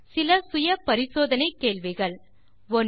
தீர்வு காண self assessment கேள்விகள் 1